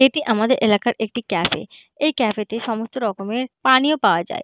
এটি আমাদের এলাকার একটি ক্যাফে এই ক্যাফে তে সমস্ত রকমের পানীয় পাওয়া যায়।